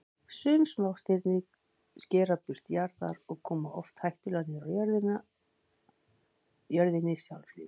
Sum smástirni skera braut jarðar og koma oft hættulega nálægt jörðinni sjálfri.